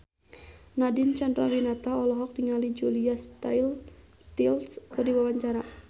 Nadine Chandrawinata olohok ningali Julia Stiles keur diwawancara